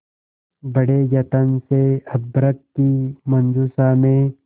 बड़े यत्न से अभ्र्रक की मंजुषा में